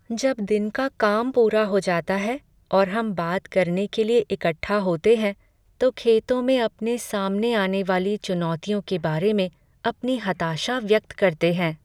जब दिन का काम पूरा हो जाता है और हम बात करने के लिए इकट्ठा होते हैं तो खेतों में अपने सामने आने वाली चुनौतियों के बारे में अपनी हताशा व्यक्त करते हैं।